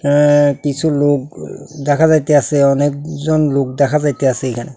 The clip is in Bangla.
অ্যা কিছু লোক দেখা যাইতাসে অনেকজন লোক দেখা যাইতাসে এইখানে।